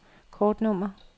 kortnummer